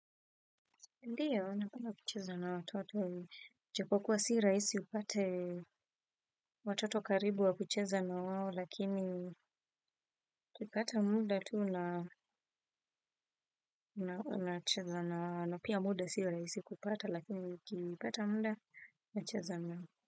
Ndiyo, napenda kucheza na watoto, japokuwa si rahisi upate watoto karibu wa kucheza na wao lakini nikipata muda tu na pia muda si rahisi kupata lakini nikipata muda nacheza nao.